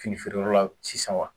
Fini feereyɔrɔ la sisan wa